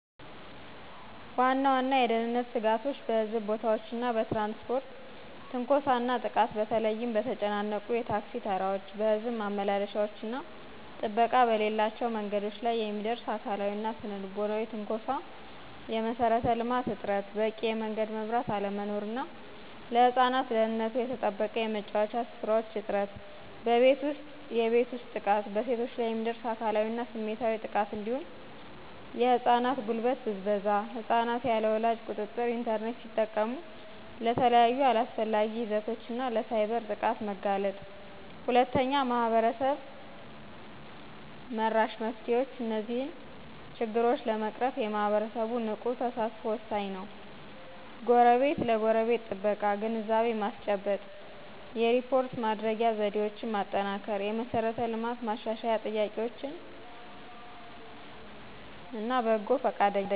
ዋና ዋና የደህንነት ስጋቶች በሕዝብ ቦታዎች እና በትራንስፖርት ትንኮሳ እና ጥቃት በተለይም በተጨናነቁ የታክሲ ተራዎች፣ በሕዝብ ማመላለሻዎች እና ጥበቃ በሌላቸው መንገዶች ላይ የሚደርስ አካላዊና ስነ-ልቦናዊ ትንኮሳ። የመሠረተ ልማት እጥረት በቂ የመንገድ መብራት አለመኖር እና ለህፃናት ደህንነቱ የተጠበቀ የመጫወቻ ስፍራዎች እጥረት። በቤት ውስጥ፦ የቤት ውስጥ ጥቃት በሴቶች ላይ የሚደርስ አካላዊና ስሜታዊ ጥቃት እንዲሁም የህፃናት ጉልበት ብዝበዛ። ህፃናት ያለ ወላጅ ቁጥጥር ኢንተርኔት ሲጠቀሙ ለተለያዩ አላስፈላጊ ይዘቶች እና ለሳይበር ጥቃት መጋለጥ። 2. ማህበረሰብ-መራሽ መፍትሄዎች እነዚህን ችግሮች ለመቅረፍ የማህበረሰቡ ንቁ ተሳትፎ ወሳኝ ነው፦ የጎረቤት ለጎረቤት ጥበቃ፣ ግንዛቤ ማስጨበጥ፣ የሪፖርት ማድረጊያ ዘዴዎችን ማጠናከር፣ የመሠረተ ልማት ማሻሻያ ጥያቄዎች፣ በጎ ፈቃደኝነት